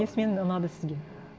несімен ұнады сізге